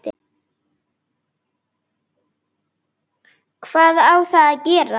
Hvað á þá að gera?